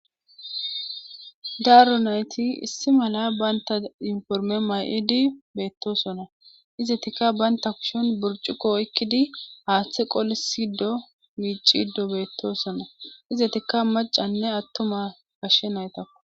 Daro nayti issi mala bantta yuunifermme mayidi beettoosona izatikka bantta kushen burccuqo haathe qolishe beessiiddo miicciiddo beettoosona izatikka maccanne attuma gashe naytakko.